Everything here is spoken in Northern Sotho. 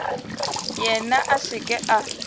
yena a se ke a